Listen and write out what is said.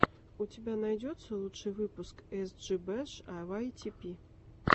у тебя найдется лучший выпуск эс джи бэш а вай ти пи